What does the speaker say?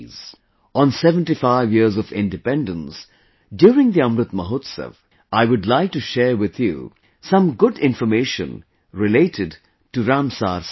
On 75 years of independence during the Amrit Mahotsav, I would like to share with you some good information related to Ramsar Sites